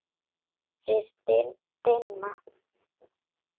Þið Binna?